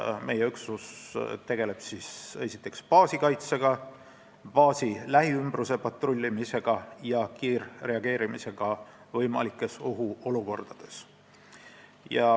Meie üksus tegeleb seal esiteks baasi kaitsega, patrullimisega baasi lähiümbruses ja kiirreageerimisega võimalikes ohuolukordades.